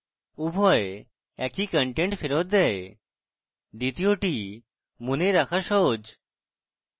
উভয় একই content ফেরৎ দেয় দ্বিতীয়টি মনে রাখা সহজ